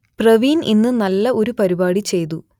പ്രവീൺ ഇന്ന് നല്ല ഒരു പരിപാടി ചെയ്തു